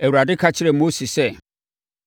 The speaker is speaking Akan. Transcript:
Awurade ka kyerɛɛ Mose sɛ,